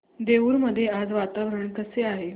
देऊर मध्ये आज वातावरण कसे आहे